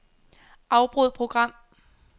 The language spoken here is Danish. Afbryd program.